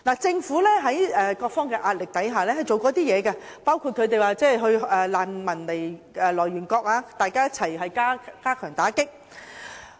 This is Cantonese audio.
政府在各方的壓力下，進行過一些工作，包括與難民的來源國一同加強打擊。